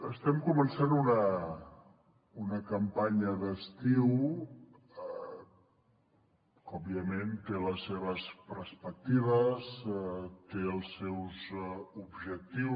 estem començant una campanya d’estiu que òbviament té les seves perspectives té els seus objectius